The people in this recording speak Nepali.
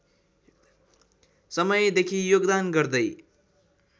समयदेखि योगदान गर्दै